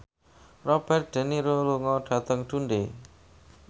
Robert de Niro lunga dhateng Dundee